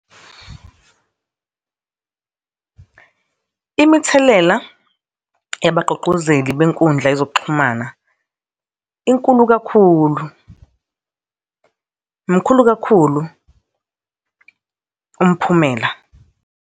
Imithelela yabagqugquzeli benkundla yezokuxhumana inkulu kakhulu. Mkhulu kakhulu umphumela.